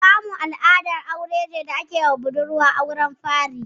Kamu al'adar aure ne da ake yiwa budurwa a auren fari.